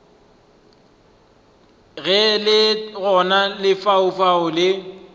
ge le gona lefaufau le